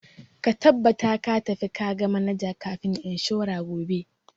Ka tabbata ka tafi ka ga manajan kamfanin inshora gobe!